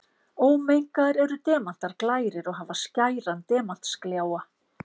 Ómengaðir eru demantar glærir og hafa skæran demantsgljáa.